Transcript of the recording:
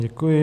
Děkuji.